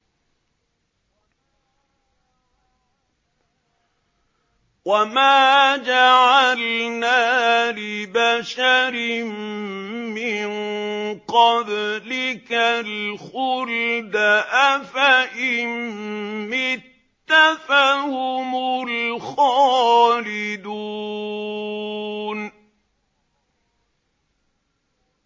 وَمَا جَعَلْنَا لِبَشَرٍ مِّن قَبْلِكَ الْخُلْدَ ۖ أَفَإِن مِّتَّ فَهُمُ الْخَالِدُونَ